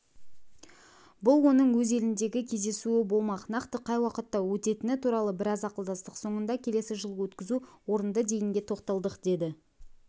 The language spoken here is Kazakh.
бұл оның өз еліндегі кездесуі болмақ нақты қай уақытта өтетіні туралы біраз ақылдастық соңында келесі жылы өткізу орынды дегенге тоқталдық деді